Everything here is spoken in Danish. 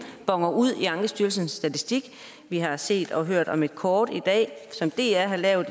boner ud i ankestyrelsens statistik vi har set og hørt om et kort i dag som dr har lavet